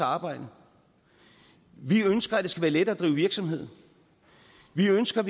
arbejde vi ønsker at det skal være lettere at drive virksomhed vi ønsker